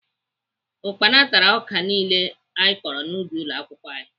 Ukpana tara ọka niile anyị kọrọ n'ubi ụlọakwụkwọ anyị